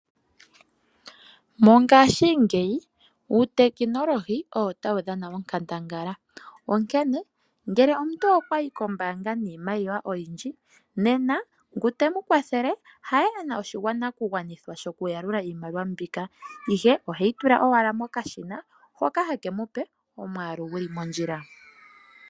Mongaashingeyi uutekinolohi owo ta wu dhana onkandangala. Ngele omuntu okwa yi kombaanga yiimaliwa oyindji nena ngu te mu kwathele ha ye hakala ena oshi nakugwanithwa shoka yalula iimaliwa. Ohe yi tula kokashina hoka ha ka gandja omwaalu ngoka gwo mondjila.